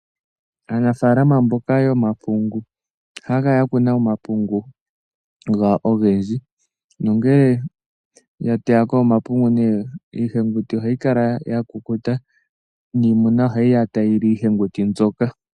Aanafalama mboka yomapungu ohaya kala ya kuna omapungu gawo ogendji. Nongele ya teya ko omapungu nee iiheguti ohayi kala ya kukuta niimuna ohayi ya tayi li iiheguti mbyoka.